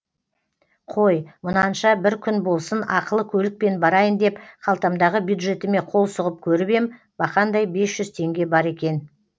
қой мұнанша бір күн болсын ақылы көлікпен барайын деп қалтамдағы бюджетіме қол сұғып көріп ем бақандай бес жүз теңге бар екен